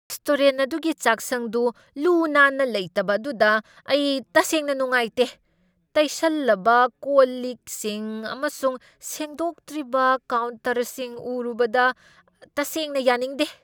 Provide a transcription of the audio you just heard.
Restaurant ꯑꯗꯨꯒꯤ ꯆꯥꯛꯁꯪꯗꯨ ꯂꯨ ꯅꯥꯟꯅ ꯂꯩꯇꯕ ꯑꯗꯨꯗ ꯑꯩ ꯇꯁꯦꯡꯅ ꯅꯨꯡꯉꯥꯏꯇꯦ꯫ ꯇꯩꯁꯜꯂꯕ ꯀꯣꯟꯂꯤꯛꯁꯤꯡ ꯑꯃꯁꯨꯡ ꯁꯦꯡꯗꯣꯛꯇ꯭ꯔꯤꯕ ꯀꯥꯎꯟꯇꯔꯁꯤꯡ ꯎꯔꯨꯕꯗ ꯇꯁꯦꯡꯅ ꯌꯥꯅꯤꯡꯗꯦ ꯫